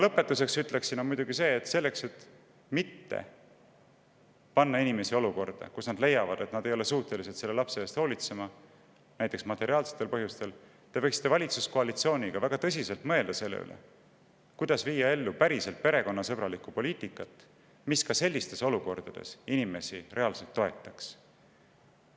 Lõpetuseks ütlen, et selleks, et mitte panna inimesi olukorda, kus nad leiavad, et nad ei ole suutelised lapse eest hoolitsema näiteks materiaalsetel põhjustel, võiksite te valitsuskoalitsioonis väga tõsiselt mõelda sellele, kuidas viia ellu päriselt perekonnasõbralikku poliitikat, mis inimesi sellistes olukordades toetaks.